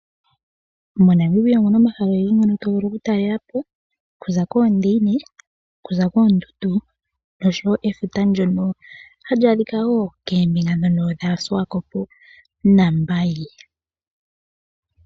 MoNamibia omuna omahala ogendji ngono to vulu oku talelapo oku za koondiine, koondundu noshowo efuta ndjono hali adhika woo koombinga ndhono dhaSuwakopo naMbaye.